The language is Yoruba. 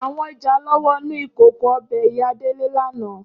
Áwòn ijálò wònú ikókó òbè Iyá Dele làná